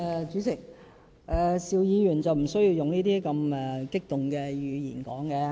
主席，邵議員無須用如此激動的語氣發言。